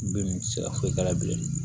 Bin ti se ka foyi k'a la bilen